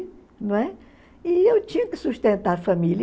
Não é? E eu tinha que sustentar a família.